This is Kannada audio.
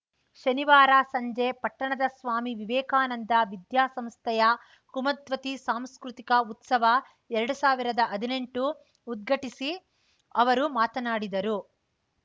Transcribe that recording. ಶನಿವಾರ ಸಂಜೆ ಪಟ್ಟಣದ ಸ್ವಾಮಿ ವಿವೇಕಾನಂದ ವಿದ್ಯಾ ಸಂಸ್ಥೆಯ ಕುಮದ್ವತಿ ಸಾಂಸ್ಕೃತಿಕ ಉತ್ಸವ ಎರಡು ಸಾವಿರದ ಹದಿನೆಂಟು ಉದ್ಘಟಿಸಿ ಅವರು ಮಾತನಾಡಿದರು